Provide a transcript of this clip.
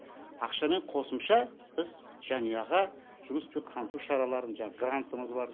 ақшамен қосымша біз жанұяға жұмыспен қамту шараларын жаңағы грантымыз бар